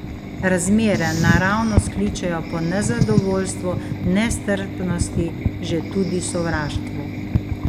Razmere naravnost kličejo po nezadovoljstvu, nestrpnosti, že tudi sovraštvu.